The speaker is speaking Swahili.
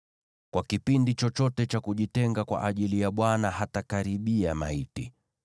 Kwa kipindi chochote cha kujitenga kwa ajili ya Bwana hatakaribia maiti.